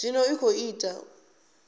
zwa zwino i khou ita